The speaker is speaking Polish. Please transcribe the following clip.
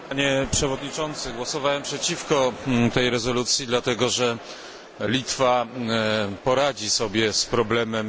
Panie przewodniczący, głosowałem przeciwko tej rezolucji, dlatego, że Litwa poradzi sobie z problemem.